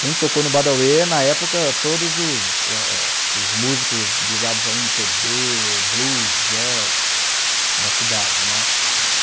Quem tocou no Badauê na época, todos os ah ah os músicos ligados a eme pê bê, Blues, Jazz da cidade, né? Uhum